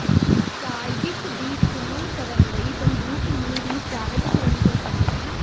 target ਦੀ ਚੋਣ ਕਰਨ ਲਈ ਬੰਦੂਕ ਨੂੰ ਰੀਚਾਰਜ ਕਰਨ ਤੋਂ ਪਹਿਲਾਂ